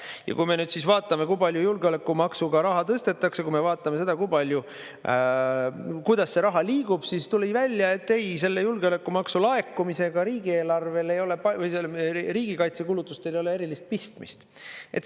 Ja kui me nüüd vaatame, kui palju julgeolekumaksuga raha tõstetakse, kui me vaatame seda, kuidas see raha liigub, siis tuli välja, et ei, selle julgeolekumaksu laekumisega riigikaitse kulutustel ei ole erilist pistmist.